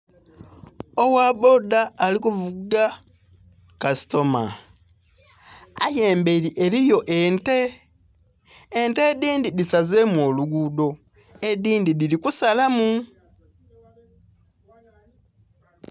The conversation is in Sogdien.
Owa boda ari kuvuga kasitama aye emberi eliyo ente, ente edhindhi dhisazemu olugudo edhindhi dhiri kusalamu